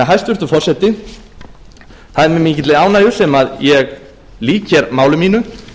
hæstvirtur forseti það er því með mikilli ánægju sem ég lýk hér máli mínu